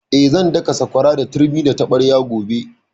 Eh, zan daka sakwara da turmi da taɓarya gobe